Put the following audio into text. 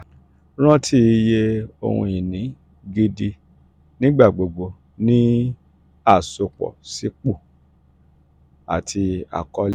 ranti iye ohun-ini gidi nigbagbogbo ni um asopọ si ipo um ati akọle. um